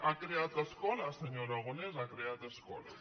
ha creat escola senyor ara·gonès ha creat escola